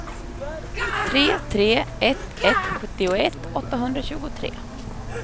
tre tre ett ett sjuttioett åttahundratjugotre